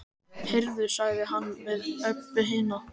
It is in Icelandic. Heyrðu, sagði hann við Öbbu hina.